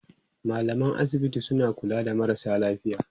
mallaman asibiti suna kula da marasa lafiya